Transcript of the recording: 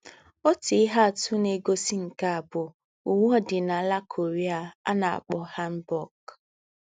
Òtú íhé àtù nà-ègósí nké à bú úwé òdìnálà Korea à nà-àkpọ́ hanbok